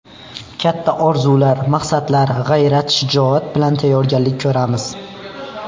Katta orzular, maqsadlar, g‘ayrat-shijoat bilan tayyorgarlik ko‘ramiz.